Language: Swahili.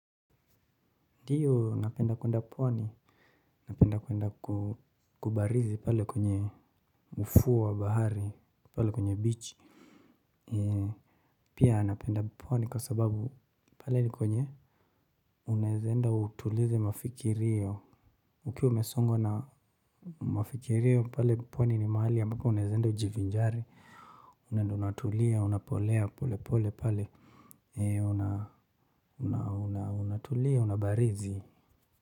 Ndiyo napenda kwenda pwani. Napenda kuenda kubarizi pale kwenye ufuo wa bahari, pale kwenye beach. Pia napenda pwani kwa sababu pale ni kwenye. Unaezenda utulize mafikirio. Ukiwa umesongwa na mafikirio pale pwani ni mahali ambapo unaezaenda ujivinjari. Unaezenda unatulia, unapolea, pole pole pale. Una, una, una, unatulia, unabarizi.